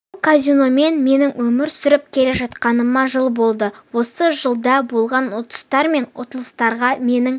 бұл казиномен мен өмір сүріп келе жатқаныма жыл болды осы жылда болған ұтыстар мен ұтылыстарға менің